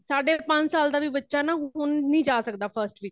ਸਾਡੇ ਪੰਜ ਸਾਲ ਦਾ ਵੀ ਬੱਚਾ ਵੀ ਹੁਣ ਨਹੀਂ ਜਾ ਸਕਦਾ first ਵਿਚ |